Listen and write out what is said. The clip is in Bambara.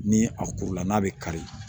Ni a kurula n'a bɛ kari